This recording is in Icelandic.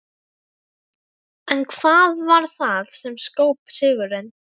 En hvað varð það sem skóp sigurinn?